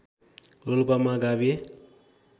रोल्पामा गाभिए